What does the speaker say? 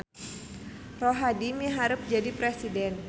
Rohadi miharep jadi presiden